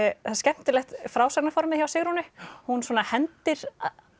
það er skemmtilegt frásagnarformið hjá Sigrúnu hún svona hendir